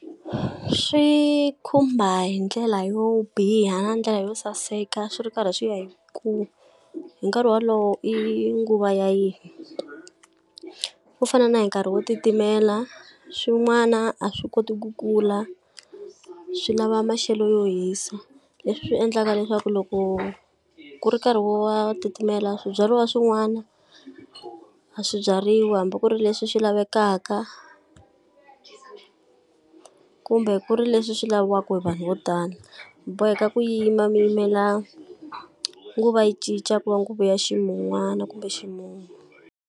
Swi khumba hi ndlela yo biha ndlela yo saseka swi ri karhi swi ya hi ku hi nkarhi wolowo i nguva ya yihi. Ku fana na hi nkarhi wo titimela swin'wana a swi koti ku kula swi lava maxelo yo hisa, leswi endlaka leswaku loko ku ri nkarhi wo wa titimela swibyariwa swin'wana a swi byariwi hambi ku ri leswi swi lavekaka kumbe ku ri leswi swi laviwaka hi vanhu vo tala. Mi boheka ku yima mi yimela nguva yi cinca ku nguva ya ximun'wana kumbe ximumu.